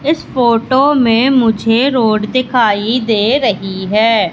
इस फोटो में मुझे रोड दिखाई दे रही है।